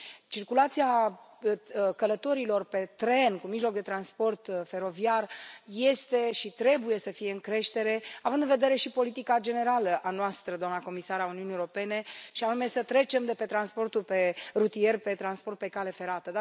Circulația călătorilor pe tren, cu mijloc de transport feroviar, este și trebuie să fie în creștere, având în vedere și politica noastră generală, doamna comisar al Uniunii Europene, și anume să trecem de pe transportul rutier pe transport pe cale ferată.